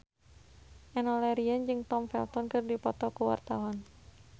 Enno Lerian jeung Tom Felton keur dipoto ku wartawan